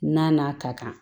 Na n'a ka kan